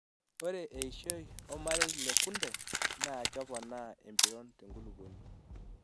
Ore eishoi omarei le kunde naa keponaa empiron tenkulupuoni.